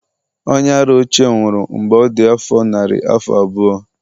onye-ara ochie nwuru mgbe ọ dị afọ narị afọ na abụọ